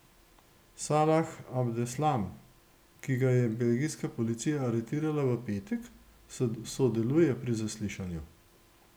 Salah Abdeslam, ki ga je belgijska policija aretirala v petek, sodeluje pri zaslišanju.